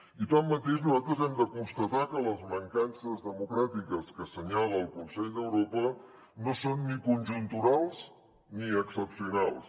i tanmateix nosaltres hem de constatar que les mancances democràtiques que assenyala el consell d’europa no són ni conjunturals ni excepcionals